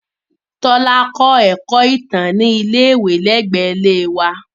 Tola kọ Ẹkọ Itan ni ile-iwe lẹgbẹẹ ile wa